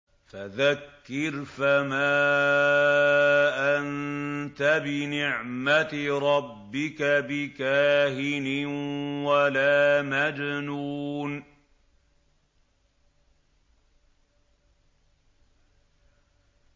فَذَكِّرْ فَمَا أَنتَ بِنِعْمَتِ رَبِّكَ بِكَاهِنٍ وَلَا مَجْنُونٍ